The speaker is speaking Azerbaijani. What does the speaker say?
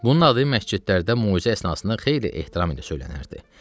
Bunun adı məscidlərdə möizə əsnasında xeyli ehtiram ilə söylənərdi.